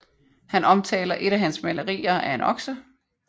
Han omtaler et af hans malerier af en okse